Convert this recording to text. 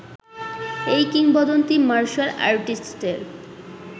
এই কিংবদন্তি মার্শাল আর্টিস্টের